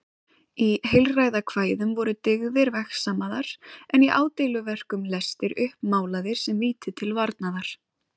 Í heilræðakvæðum voru dyggðir vegsamaðar en í ádeiluverkum lestir uppmálaðir sem víti til varnaðar.